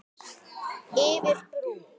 Yfir brú.